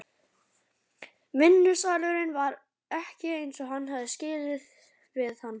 Vinnusalurinn var ekki eins og hann hafði skilið við hann.